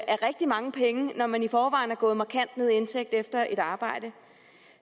er rigtig mange penge når man i forvejen er gået markant ned i indtægt efter at arbejde